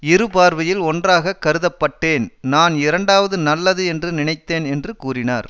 இரு பார்வையில் ஒன்றாக கருதப்பட்டேன் நான் இரண்டாவது நல்லது என்று நினைத்தேன் என்று கூறினார்